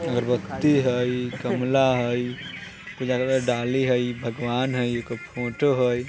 अगरबत्ती हई गमला हई पूजा करे वाला डाली हई भगवान हई एगो फोटो हई।